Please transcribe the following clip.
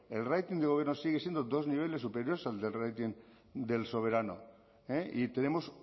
el rating del gobierno sigue siendo dos niveles superiores al del rating del soberano y tenemos